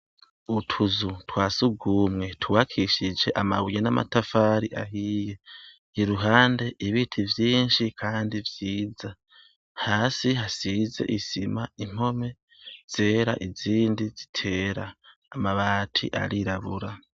Utuzu twa surwumwe twubakishije amabuye n'amatafari ahiye. Iruhande, ibiti vyinshi kandi vyiza. Hasi hasize isima, impome zera izindi zitera. Amabati arirabura.